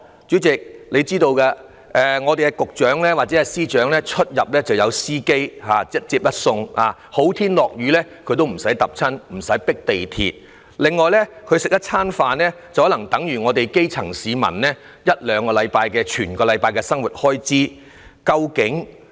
主席，你也知道局長和司長出入有司機接送，不需要日曬雨淋，不需要跟市民一起迫地鐵，他們吃一頓飯的價錢更可能等於基層市民一兩個星期的生活開支。